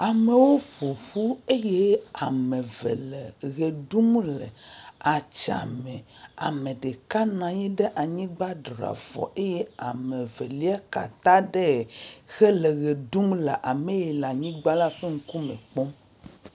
Amewo ƒo ƒu eye am eve le ʋe ɖum le tsã me. Ame ɖeka na anyi ɖe anyigba dra afɔ eye ame veli kea ta ɖee hele ʋe ɖum le ame yi le anyigba la ƒe ŋkume kpɔm.